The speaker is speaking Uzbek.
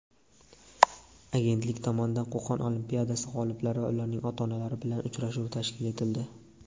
Agentlik tomonidan "Qo‘qon olimpiadasi" g‘oliblari va ularning ota-onalari bilan uchrashuv tashkil etildi.